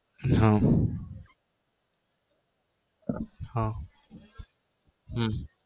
હમ હમ હમ